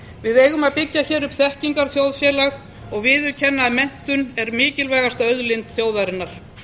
við eigum að byggja hér upp þekkingarþjóðfélag og viðurkenna að menntun er mikilvægasta auðlind þjóðarinnar